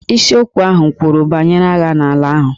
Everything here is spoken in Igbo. Isiokwu ahụ kwuru banyere agha n'ala ahụ.